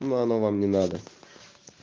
но она вам не надо